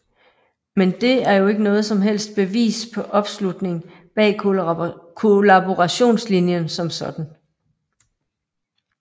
Men det er jo ikke noget som helst bevis på opslutning bag kollaborationslinjen som sådan